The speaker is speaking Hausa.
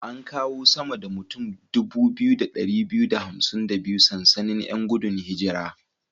An kawo sama da mutan 2252 sansanin 'yan gudun hijira.